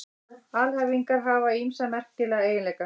Alhæfingar hafa ýmsa merkilega eiginleika.